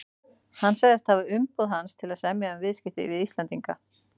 hefði sagst hafa umboð hans til að semja um viðskipti við Íslendinga.